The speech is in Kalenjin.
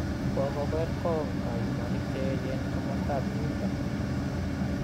Ko ker kong� kayuumaniik cheechen komostab myieinto